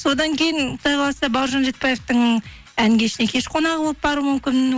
содан кейін құдай қаласа бауыржан ретбаевтың ән кешіне кеш қонағы болып баруым мүмкін